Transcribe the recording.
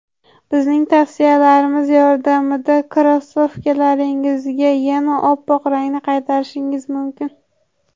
Bizning tavsiyalarimiz yordamida krossovkalaringizga yana oppoq rangni qaytarishingiz mumkin.